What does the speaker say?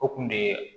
O kun de ye